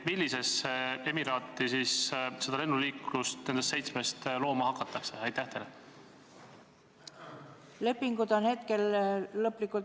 Millisesse emiraati nendest seitsmest seda lennuliiklust looma hakatakse?